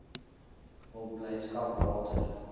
hul blydskap later